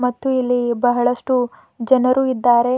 ಮತ್ತು ಇಲ್ಲಿ ಬಹಳಷ್ಟು ಜನರು ಇದ್ದಾರೆ.